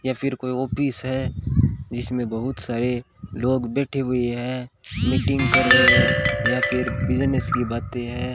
या फिर कोई ऑफिस है जिसमें बहुत सारे लोग बैठे हुए हैं मीटिंग कर रहे है या फिर बिजनेस की बातें है।